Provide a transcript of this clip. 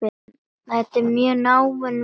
Þetta er mjög náin vinna.